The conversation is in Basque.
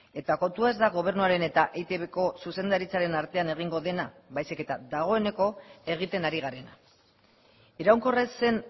eta kontua ez da gobernuaren eta eitbko zuzendaritzaren artean egingo dena baizik eta dagoeneko egiten ari garena iraunkorra ez zen